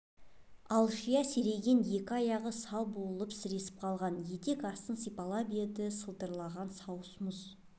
алшия серейген екі аяғы сал болып сіресіп қалған етек астын сипалап еді сылдыраған сауыс мұз